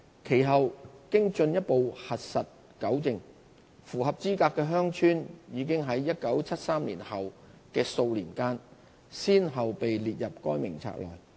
其後經進一步核實糾正，符合資格的鄉村已在1973年後數年間先後被列入該名冊內。